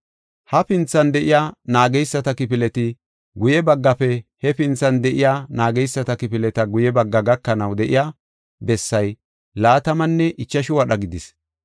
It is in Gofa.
Hafinthan de7iya naageysata kifileti guye baggafe hefinthan de7iya naageysata kifileta guye bagga gakanaw de7iya bessay laatamanne ichashu wadha gidis.